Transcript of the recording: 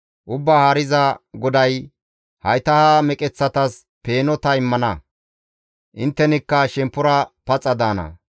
Ubbaa Haariza GODAY hayta ha meqeththatas peeno ta immana; inttenikka shemppora paxa daana.